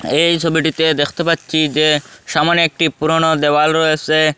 এই ছবিটিতে দেখতে পাচ্ছি যে সামনে একটি পুরানো দেওয়াল রয়েসে।